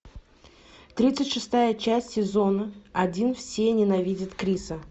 тридцать шестая часть сезона один все ненавидят криса